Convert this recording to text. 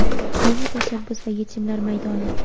yangi tashabbus va yechimlar maydoni.